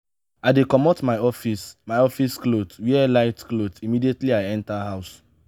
i dey comot my office my office cloth wear light cloth immediately i enta house.